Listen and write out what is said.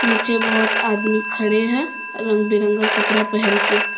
नीचे बहोत आदमी खड़े है रंग बिरंगा कपड़ा पहन के--